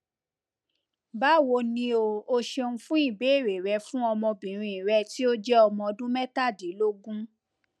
bawo ni o ṣeun fun ibeere rẹ fun ọmọbinrin rẹ ti o jẹ ọmọ ọdun mẹtadilogun